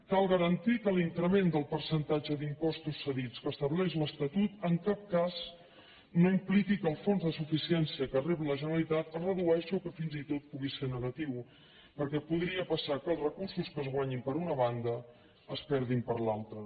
cal garantir que l’increment del percentatge d’impostos cedits que estableix l’estatut en cap cas no impliqui que el fons de suficiència que rep la generalitat es redueixi o que fins i tot pugui ser negatiu perquè podria passar que els recursos que es guanyin per una banda es perdin per l’altra